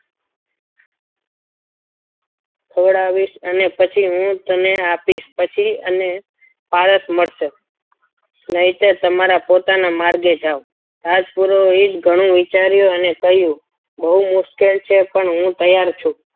ખવડાવીશ અને હું પછી તને આપીશ અને પારસ મળશે નહીંતર તમારા પોતાના માર્ગે જાવ રાજપુરોહિત ઘણું વિચાર્યું અને કહ્યું બહુ મુશ્કેલ છે પણ હું તૈયાર છું.